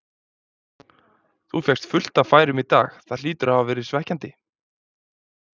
Þú fékkst fullt af færum í dag, það hlýtur að hafa verið svekkjandi?